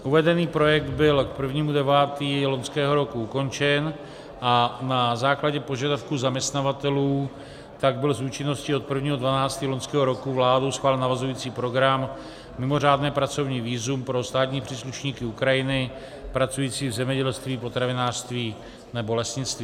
Uvedený projekt byl k 1. 9. loňského roku ukončen a na základě požadavků zaměstnavatelů tak byl s účinností od 1. 12. loňského roku vládou schválen navazující program Mimořádné pracovní vízum pro státní příslušníky Ukrajiny pracující v zemědělství, potravinářství nebo lesnictví.